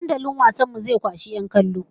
Dandalin wasan mu zai kwashi 'yan kallo!